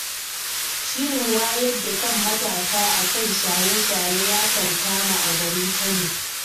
Shirin wayar da kan matasa akan shaye-shaye ya kankama a garin Kano.